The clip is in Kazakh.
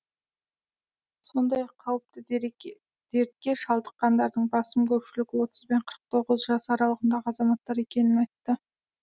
сондай ақ қауіпті дертке шалдыққандардың басым көпшілігі отыз бен қырық тоғыз жас аралығындағы азаматтар екенін айтты